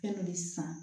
Fɛn min san